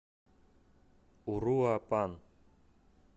уруапан